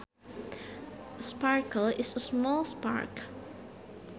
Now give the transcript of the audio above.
A sparkle is a small spark